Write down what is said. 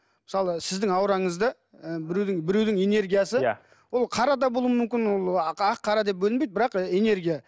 мысалы сіздің аураңызды ы біреудің біреудің энергиясы ол қара да болуы мүмкін ол ақ қара деп бөлінбейді бірақ энергия